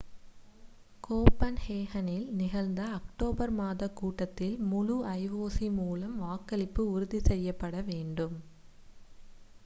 கோபன்ஹேகனில் நிகழ்ந்த அக்டோபர் மாதக் கூட்டத்தில் முழு ioc மூலம் வாக்களிப்பு உறுதி செய்யப்பட வேண்டும்